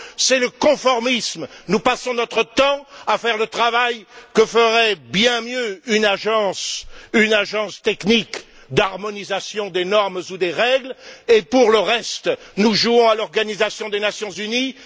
C'est le conformisme. Nous passons notre temps à faire le travail que ferait bien mieux une agence technique d'harmonisation des normes ou des règles et, pour le reste, nous jouons à l'Organisation des Nations unies.